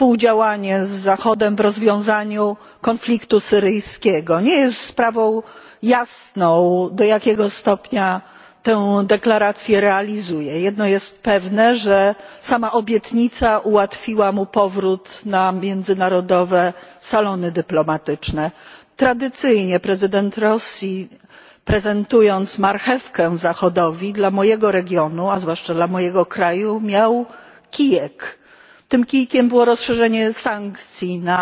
Panie Przewodniczący! Władimir Putin zadeklarował współdziałanie z Zachodem w rozwiązaniu konfliktu syryjskiego. Nie jest sprawą jasną, do jakiego stopnia tę deklarację realizuje. Jedno jest pewne, że sama obietnica ułatwiła mu powrót na międzynarodowe salony dyplomatyczne. Tradycyjnie prezydent Rosji, prezentując marchewkę Zachodowi, dla mojego regionu, a zwłaszcza dla mojego kraju, miał kijek. Tym kijkiem było rozszerzenie sankcji